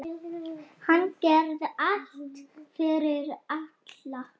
Hann gerði allt fyrir alla.